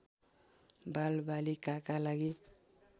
बालबालिकाका लागि